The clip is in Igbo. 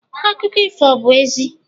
Akụkọ ifo obu 'ezie?